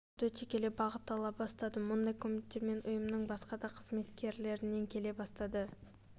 уақыт өте келе бағыт ала бастады мұндай комменттер ұйымның басқа да қызметкерлерінен келе бастады